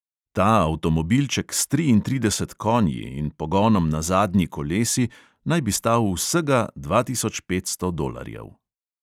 Ta avtomobilček s triintrideseti "konji" in pogonom na zadnji kolesi, naj bi stal vsega dva tisoč petsto dolarjev.